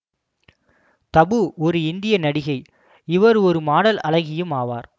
தபூ ஒரு இந்திய நடிகை இவர் ஒரு மாடல் அழகியும் ஆவார்